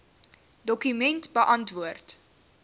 dokument beantwoord